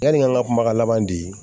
Yani an ka kumakan laban di